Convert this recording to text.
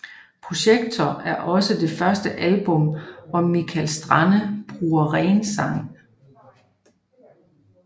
Projector er også det første album hvor Mikael Stanne bruger renssang